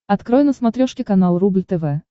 открой на смотрешке канал рубль тв